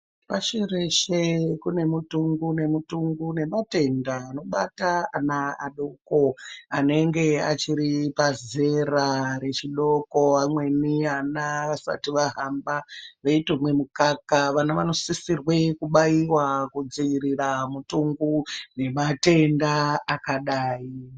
Pashi reshe kune mutungu nemutungu nematenda inobata ana adoko anenge achiri pazera rechidoko. Amweni ana vasati vahamba veitomwa mukaka. Vana vanosisirwe kubaiwa kudzivirira mitungu nematenda akadayi.